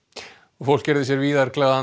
fólk gerði sér víðar glaðan